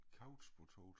Couch potato